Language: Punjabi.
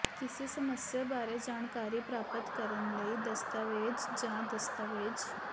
ਕਿਸੇ ਸਮੱਸਿਆ ਬਾਰੇ ਜਾਣਕਾਰੀ ਪ੍ਰਾਪਤ ਕਰਨ ਲਈ ਦਸਤਾਵੇਜ਼ ਜਾਂ ਦਸਤਾਵੇਜ਼